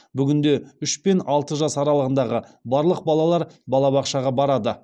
бүгінде үш пен алты жас аралығындағы барлық балалар балабақшаға барады